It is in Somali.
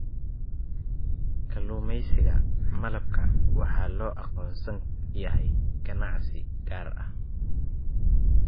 Kalluumeysiga Malabka waxaa loo aqoonsan yahay ganacsi gaar ah.